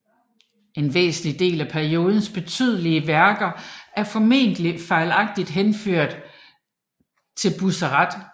En væsentlig del af periodens betydelige værker er formentlig fejlagtigt henført til Bussert